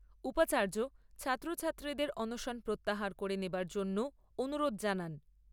উপাচার্য ছাত্রছাত্রীদের অনশন প্রত্যাহার করে নেওয়ার জন্যও অনুরোধ জানান।